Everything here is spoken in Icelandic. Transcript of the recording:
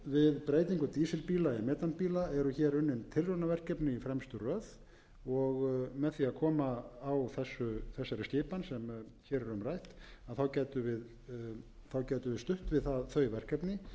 við breytingu dísilbíla í metanbíla eru hér unnin tilraunaverkefni í fremstu röð og með því að koma á þessari skipan sem hér er um rætt gætum við stutt við þau verkefni